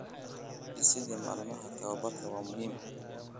Dhisidda maalmaha tababarka waa muhiim.